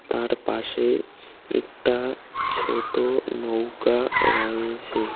তার পাশে একটা ছোট নৌকা রয়েছে।